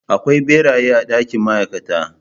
Akwai beraye a dakin ma'aikata.